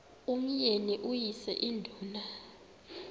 umyeni uyise iduna